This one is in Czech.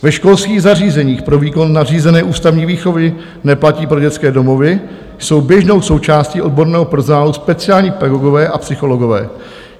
Ve školských zařízeních pro výkon nařízené ústavní výchovy - neplatí pro dětské domovy - jsou běžnou součástí odborného personálu speciální pedagogové a psychologové.